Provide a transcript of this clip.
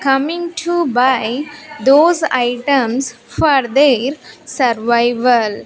coming to buy those items for their survival.